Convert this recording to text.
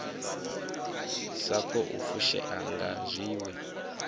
sa khou fushea nga zwiwe